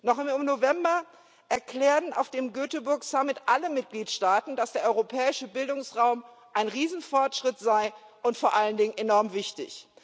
Noch im November erklärten auf dem Göteborg Summit alle Mitgliedstaaten, dass der Europäische Bildungsraum ein Riesenfortschritt sei und vor allen Dingen enorm wichtig.